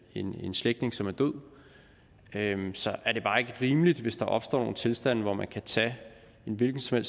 en slægtning som er død så er det bare ikke rimeligt hvis der opstår nogle tilstande hvor man kan tage en hvilken som